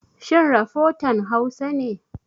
Shin rafotan Hausa ne?